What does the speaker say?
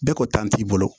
Bɛɛ ko tan t'i bolo